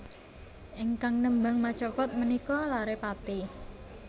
Ingkang nembang macapat menika lare Pati